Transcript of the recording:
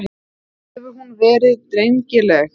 Hefur hún verið drengileg?